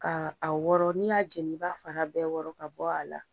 Ka a wɔrɔ n'i y'a jeni i b'a fara bɛɛ wɔrɔ ka bɔ a la.